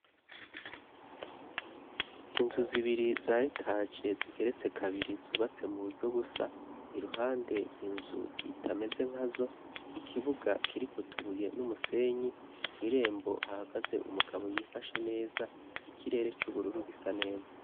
Inzu zibiri zayetaje zigeretse kabiri zubatse mu buryo busa iruhande inzu itameze nka zo ikibuga kirikutubuye n'umusenyi ko'irembo hahagaze umugabo yifashe neza ikirere c'ubururu gisa neza.